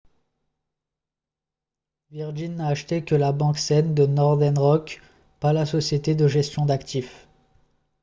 virgin n’a acheté que la « banque saine » de northern rock pas la société de gestion d’actifs